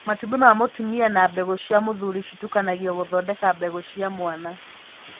Matumbĩ ma mũtumia na mbegũ cia mũthuri citukanagio gũthondeka mbegũ cia mwana.